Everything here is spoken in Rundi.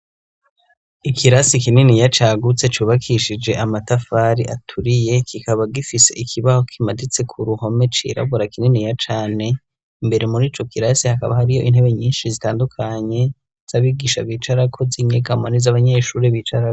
Ikirasi kininiya cagutse cubakishije amatafari aturiye. Kikaba gifise ikibaho kimaditse k'uruhome cirabura kininiya cane. Imbere mur'ico kirasi , hakaba hariyo intebe nyinshi zitandukanye z'abigisha bicarako z'inyegamo n'izo abanyeshuri bicara.